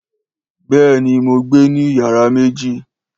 Béèni mo gbe ni iyara méjì